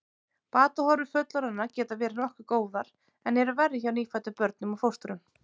Batahorfur fullorðinna geta verið nokkuð góðar en eru verri hjá nýfæddum börnum og fóstrum.